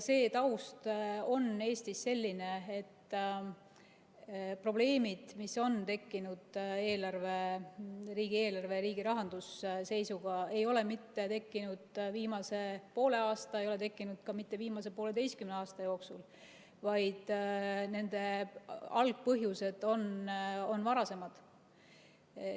See taust on Eestis selline, et probleemid, mis on tekkinud riigieelarve ja riigi rahanduse seisuga, ei ole tekkinud mitte viimase poole aastaga ega ole tekkinud ka mitte viimase poolteise aasta jooksul, vaid nende algpõhjused on varasemad.